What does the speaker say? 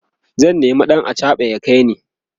zan nema ɗan achaɓa ya kaini